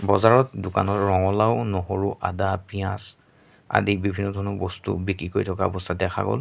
বজাৰত দোকানৰ ৰঙালাউ নহৰু আদা পিয়াজ আদি বিভিন্ন ধৰণৰ বস্তুও বিক্ৰী কৰি থকা অৱস্থাত দেখা গ'ল।